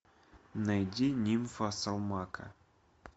найди нимфа салмака